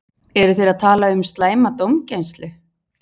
Eru þeir að tala um slæma dómgæslu?